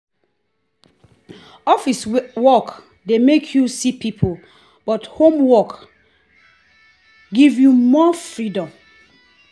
office work dey make you see people but home work give you more freedom.